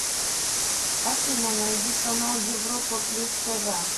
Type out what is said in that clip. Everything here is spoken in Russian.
афина найди канал европа плюс тв